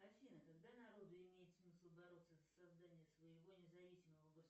афина когда народу имеет смысл бороться за создание своего независимого